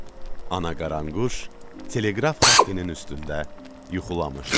Ana qaranquş teleqraf xəttinin üstündə yuxulamışdı.